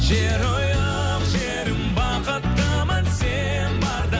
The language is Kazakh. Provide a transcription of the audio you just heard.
жерұйық жерім бақыттымын сен барда